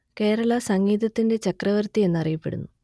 കേരള സംഗീതത്തിന്റെ ചക്രവർത്തി എന്നു അറിയപ്പെടുന്നു